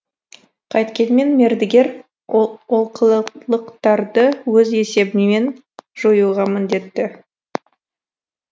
қайткенмен мердігер ол олқылықтарды өз есебінен жоюға міндетті